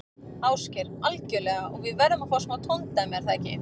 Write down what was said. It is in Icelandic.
Ásgeir: Algjörlega og við verðum að fá smá tóndæmi, er það ekki?